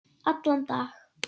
Allan dag?